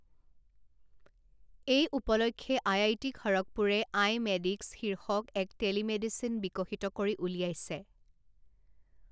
এই উপলক্ষে আইআইটি খড়গপুৰে আইমেডিক্স শীৰ্ষক এক টেলিমেডিচিন বিকশিত কৰি উলিয়াইছে।